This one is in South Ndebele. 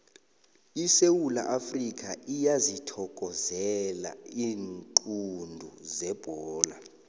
isewula afrikha iyazithokozela iinqundu zebholo